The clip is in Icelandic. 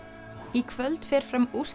í kvöld fer fram